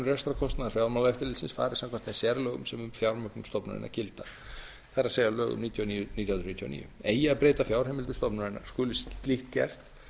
rekstrarkostnaðar fjármálaeftirlitsins fari eftir þeim sérlögum sem um fjármál stofnunarinnar gilda það er lögum níutíu og níu nítján hundruð níutíu og níu eigi að breyta fjárheimildum stofnunarinnar skuli álit gert